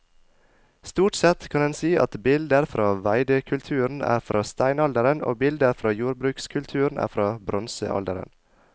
Stort sett kan en si at bilder fra veidekulturen er fra steinalderen og bilder fra jordbrukskulturen er fra bronsealderen.